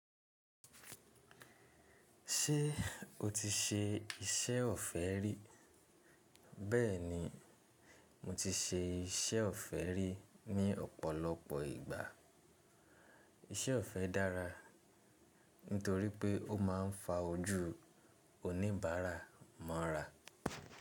Ṣé o ti ṣe iṣẹ́ ọ̀fẹ́ rí? Bẹ́ẹ̀ni, mo ti ṣe iṣẹ́ ọ̀fẹ́ rí ní ọ̀pọ̀lọpọ̀ ìgbà. Iṣẹ́ ọ̀fẹ́ dára nítorí pé ó máa ń fa ojú oníbàárà mọ́ra.